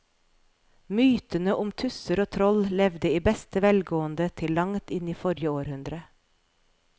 Mytene om tusser og troll levde i beste velgående til langt inn i forrige århundre.